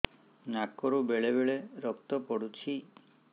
ନାକରୁ ବେଳେ ବେଳେ ରକ୍ତ ପଡୁଛି